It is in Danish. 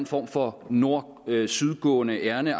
form for nord syd gående ærinde